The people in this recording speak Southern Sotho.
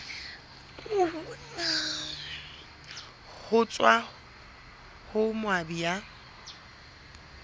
ho tswa ho moabi ya